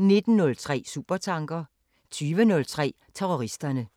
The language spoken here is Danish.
19:03: Supertanker * 20:03: Terroristerne *